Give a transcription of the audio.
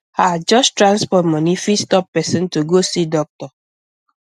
ah just transport money fit stop person to go see doctor